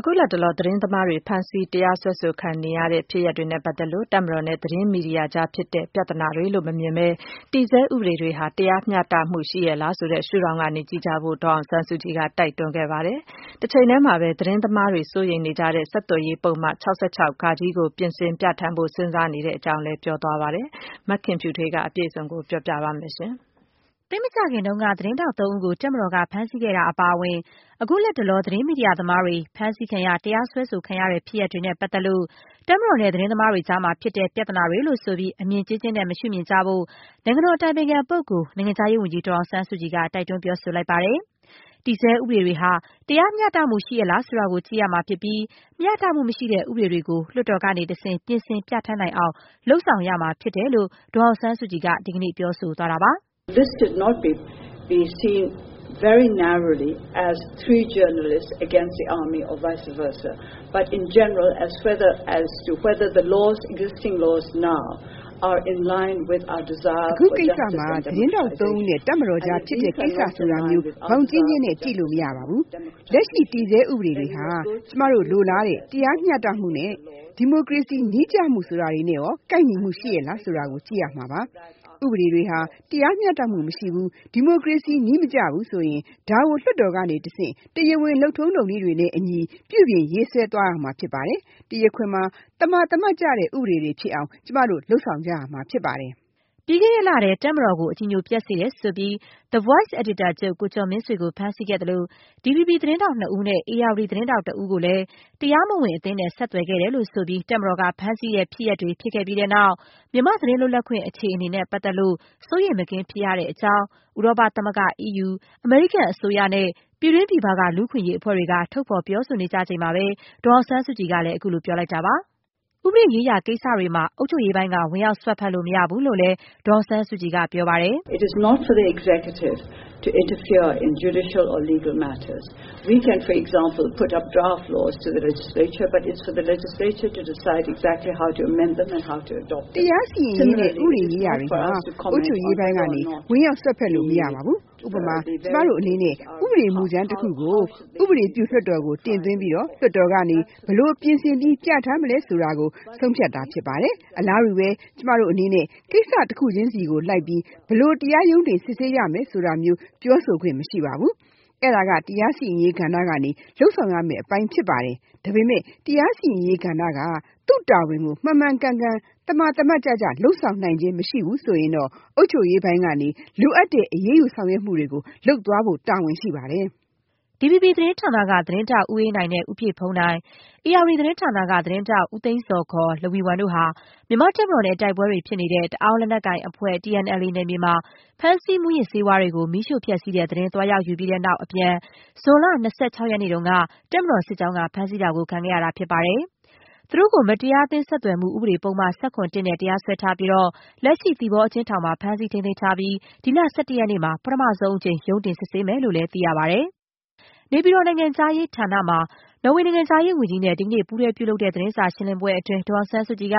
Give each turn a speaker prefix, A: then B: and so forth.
A: အခုလတ်တလော သတင်းသမားတွေ ဖမ်းဆီး တရားစွဲဆိုခံရတဲ့ဖြစ်ရပ်တွေနဲ့ပတ်သက်လို့ တပ်မတော်နဲ့ သတင်းမီဒီယာအကြားဖြစ်တဲ့ ပြဿနာတွေလို့မမြင်ဘဲ၊ တည်ဆဲဥပဒေတွေဟာ တရားမျှတရဲ့လားဆိုတဲ့ ရှုထောင့်ကနေ ကြည့်ဖို့ ဒေါ်အောင်ဆန်းစုကြည်က တိုက်တွန်း ပြောခဲ့ပါတယ်။ တချိန်တည်းမှာပဲ သတင်းသမားတွေ စိုးရိမ်နေကြတဲ့ ဆက်သွယ်ရေးပုဒ်မ ၆၆ ကို ပြင်ဆင်ပြဌာန်းဖို့ စဉ်းစားနေတဲ့ အကြောင်းလည်း ပြောဆိုခဲ့ပါတယ်။ မခင်ဖြူထွေးက အခြေအနေအပြည့်စုံကို ပြောပြပေးမယ်။ သိပ်မကြာခင်တုန်းက သတင်းထောက်သုံးဦးကို တပ်မတော်က ဖမ်းဆီးခဲ့တာ အပါအဝင် အခုလတ်တလော သတင်းမီဒီယာသမားတွေ ဖမ်းဆီးခံရ၊ တရားစွဲဆိုခံရတဲ့ ဖြစ်ရပ်တွေနဲ့ပတ်သက်လို့ တပ်မတော်နဲ့ သတင်းသမားတွေကြားမှာဖြစ်တဲ့ ပြဿနာတွေလို့ ဆိုပြီး အမြင်ကျဉ်းကျဉ်းနဲ့ မရှုမြင်ကြဖို့ နိုင်ငံတော်အတိုင်ပင်ခံပုဂ္ဂိုလ်၊ နိုင်ငံခြားရေးဝန်ကြီး ဒေါ်အောင်ဆန်းစုကြည်က တိုက်တွန်း ပြောဆိုလိုက် တာပါ။ တည်ဆဲဥပဒေတွေဟာ တရားမျှတမှု ရှိရဲ့လား ဆိုတာကို ကြည့်ရမှာဖြစ်ပြီး မျှတမှုမရှိတဲ့ဥပဒေတွေကို လွှတ်တော်ကနေတဆင့် ပြင်ဆင် ပြဌာန်းနိုင်အောင် လုပ်ဆောင်ရမှာဖြစ်တယ်လို့ ဒေါ်အောင်ဆန်းစုကြည်က ဒီကနေ့ ပြောဆိုသွားပါတယ်
B: ။ “အခုကိစ္စမှာ သတင်းထော
C: က်သုံးဦးနဲ့ တပ်မတော်အကြားဖြစ်တဲ့ ကိစ္စ ဆိုတာမျိုး ဘောင်ကျဉ်းကျဉ်းနဲ့ ကြည့်လို့မရပါဘူး။ လက်ရှိတည်ဆဲ ဥပဒေတွေဟာ ကျမတို့ လိုလားတဲ့ တရားမျှတမှု၊ ဒီမိုကရေစီနည်းကျမှုဆိုတာတွေနဲ့ ကိုက်ညီမှုရှိရဲ့လားဆိုတာ ကြည့်ရပါမယ်။ ဥပဒေတွေဟာ တရားမျှတမှုမရှိဘူး ဒီမိုကရေစီနည်းမကျဘူးဆိုရင် ဒါကို လွှတ်တော်ကနေတဆင့် တရားဝင် လုပ်ထုံးလုပ်နည်းတွေနဲ့ အညီ ပြုပြင် ရေးဆွဲသွားရမှာဖြစ်ပါတယ်။ တရားခွင်မှာ သမာသမတ်ကျတဲ့ ဥပဒေတွေဖြစ်အောင် ကျမ
A: တို့ လုပ်ဆောင်ကြရပါမယ်။” ပြီးခဲ့တဲ့လထဲ တပ်မတော်ကို အကြည်ညိုပျက်စေတယ်ဆိုပြီး The Voice အယ်ဒီတာချုပ် ကိုကျော်မင်းဆွေကို ဖမ်းဆီးခဲ့သလို၊ DVB သတင်းထောက်နှစ်ဦးနဲ့ ဧရာဝတီ သတင်းထောက်တဦးကိုတော့ တရားမဝင်အသင်းနဲ့ ဆက်သွယ်ခဲ့တယ်လို့ ဆိုပြီး တပ်မတော်က ဖမ်းဆီးတဲ့ ဖြစ်ရပ်တွေ ဖြစ်ခဲ့ပြီးတဲ့နောက် မြန်မာ့သတင်းလွတ်လပ်ခွင့် အခြေအနေနဲ့ ပတ်သက်လို့ စိုးရိမ်မကင်း ဖြစ်ရတဲ့အကြောင်း ဥရောပသမဂ္ဂ၊ အမေရိကန် အစိုးရ နဲ့ ပြည်တွင်း ပြည်ပ လူ့အခွင့်အရေး အဖွဲ့တွေက ထုတ်ဖော်ပြောဆို နေကြချိန်မှာပဲ ဒေါ်အောင်ဆန်းစုကြည်က အခုလို ပြောဆိုလိုက်တာပါ။ ဥပဒေရေးရာကိစ္စတွေမှာ အုပ်ချုပ်ရေးပိုင်းက ဝင်ရောက်စွက်ဖက်လို့ မရဘူးလို့လည်း ဒေါ်အောင်ဆန်းစုကြည်က ပြောပါတယ်။ “တရားစီရင်ရေးနဲ့ ဥပဒေရေးရာတ
B: ွေမှာ အုပ်ချုပ်ရေးပ
C: ိုင်းက ဝင်ရောက်စွက်ဖက်လို့ မရပါဘူး။ ဥပမာ - ကျမတို့အနေနဲ့ ဥပဒေမူကြမ်းတခုကို ဥပဒေပြုလွှတ်တော်ကို တင်သွင်းပြီး လွှတ်တော်ကနေ ဘယ်လို ပြင်ဆင်ပြီး ပြဌာန်းမလဲ ဆိုတာကို ဆုံးဖြတ်တာ ဖြစ်ပါတယ်။ အလားတူပဲ ကျမတို့အနေနဲ့ ကိစ္စတခုချင်းစီကို လိုက်ပြီး ဘယ်လို တရားရုံးတင် စစ်ဆေးရမယ်ဆိုတာမျိုး ပြောဆိုခွင့် မရှိပါဘူး။ အဲဒါက တရားစီရင်ရေးကဏ္ဍက လုပ်ဆောင်ရမယ့် အပိုင်းပါ။ ဒါပေမဲ့ တရားစီရင်ရေးကဏ္ဍက သူ့တာဝန်ကို မှန်မှန်ကန်ကန် လုပ်ဆောင်နိုင်ခြင်း မရှိဘူးဆိုရင်တော့ အုပ်ချုပ်ရေးပိုင်းကနေ လိုအပ်တဲ့ အရေးယူဆောင်ရွ
A: က်မှုတွေ လုပ်သွားဖို့ တာဝန်ရှိပါတယ်။” DVB သတင်းဌာနက သတင်းထောက် ဦးအေးနိုင်နဲ့ ဦးပြည့်ဘုန်းနိုင်၊ ဧရာဝတီ သတင်းဌာနက သတင်းထောက် ဦးသိန်းဇော် ခေါ် လဝီဝမ်တို့ဟာ မြန်မာ့တပ်မတော်နဲ့ တိုက်ပွဲတွေဖြစ်နေတဲ့ တအောင်းလက်နက်ကိုင်အဖွဲ့ TNLA နယ်မြေမှာ ဖမ်းဆီး မူးယစ်ဆေးဝါးတွေကို မီးရှို့ဖျက်ဆီးတဲ့ သတင်း သွားယူပြီးတဲ့နောက် အပြန် ဇွန်လ ၂၆ ရက်နေ့က တပ်မတော်စစ်ကြောင်းက ဖမ်းဆီးတာ ခံခဲ့ရတာဖြစ်ပါတယ်။ သူတို့ကို မတရားအသင်း ဆက်သွယ်မှုဥပဒေပုဒ်မ ၁၇ နဲ့ တရားစွဲထားပြီးတော့ လက်ရှိ သီပေါအကျဉ်းထောင်မှာ ဖမ်းဆီးထိန်းသိမ်း ထားပြီး ဒီလ ၁၁ ရက်နေ့မှာ ပထမဆုံးအကြိမ် ရုံးတင်စစ်ဆေးမယ်လို့လည်း သိရပါတယ်။ နေပြည်တော် နိုင်ငံခြားရေးဌာနမှာ နော်ေ၀ နိုင်ငံခြားရေးဝန်ကြီးနဲ့ ဒီကနေ့ ပူးတွဲပြုလုပ်တဲ့ သတင်းစာရှင်းလင်းပွဲမှာ ဒေါ်အောင်ဆန်းစုကြည်က